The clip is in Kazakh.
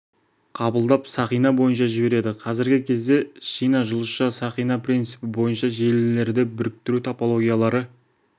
қабылдап оны сақина бойынша жібереді қазіргі кезде шина жұлдызша сақина принципі бойынша желілерді біріктіру топологиялары